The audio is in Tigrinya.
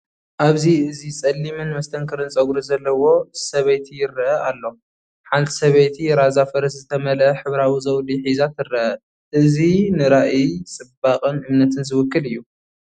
ኣብዚ እዚ ጸሊምን መስተንክርን ጸጉሪ ዘለዎ ሰበይቲ ይርአ ኣሎ። ሓንቲ ሰበይቲ ራዛ ፈረስ ዝተመልአ ሕብራዊ ዘውዲ ሒዛ ትርአ። እእዚ ንራእይ ጽባቐን እምነትን ዝውክል እዩ።